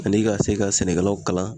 Ani ka se ka sɛnɛkɛlaw kalan